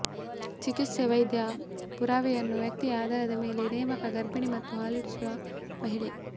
ಚಿಕಿತ್ಸೆ ವೈದ್ಯ ಪುರಾವೆಯನ್ನು ವ್ಯಕ್ತಿಯ ಆಧಾರದ ಮೇಲೆ ನೇಮಕ ಗರ್ಭಿಣಿ ಮತ್ತು ಹಾಲೂಡಿಸುವ ಮಹಿಳೆ